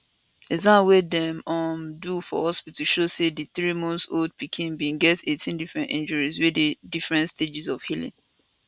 exam wey dem um do for hospital show say di threemonthold pikin bin get 18 different injuries wey dey different stages of healing